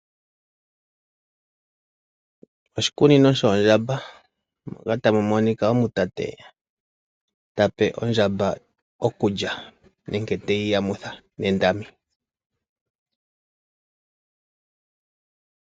Oshikunino shoondjamba moka tamu monika omutate tape ondjamba okulya nenge teyi yamutha mondami.